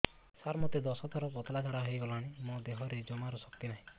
ସାର ମୋତେ ଦଶ ଥର ପତଳା ଝାଡା ହେଇଗଲାଣି ମୋ ଦେହରେ ଜମାରୁ ଶକ୍ତି ନାହିଁ